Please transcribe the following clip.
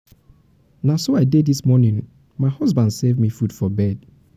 na um so i dey dis morning my husband serve me food for bed.